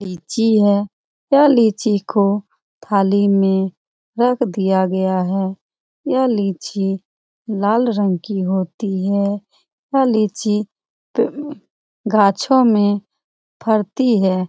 लीची है। यह लीची को थाली में रख दिया गया है। यह लीची लाल रंग की होती है। यह लीची गाछों में फरती है।